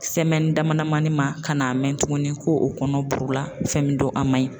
dama damani ma ka n'a mɛn tuguni ko o kɔnɔ burula fɛn min do a man ɲi.